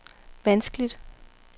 vanskeligt